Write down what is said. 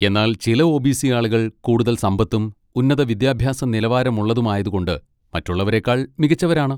എന്നാൽ ചില ഒ.ബി.സി. ആളുകൾ കൂടുതൽ സമ്പത്തും ഉന്നത വിദ്യാഭ്യാസനിലവാരമുള്ളതും ആയതുകൊണ്ട് മറ്റുള്ളവരെക്കാൾ മികച്ചവരാണ്.